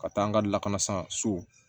Ka taa an ka lakana sanso